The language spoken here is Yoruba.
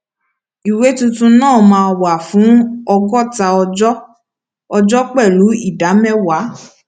ìwé tuntun náà máa wà fún ọgọta ọjọ ọjọ pẹlú ìdá mẹwàá